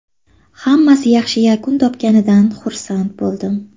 Hammasi yaxshi yakun topganidan xursand bo‘ldim”.